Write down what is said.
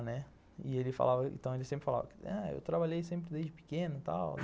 Né, e ele falava, então ele sempre falava ah que eu trabalhei sempre desde pequeno e tal.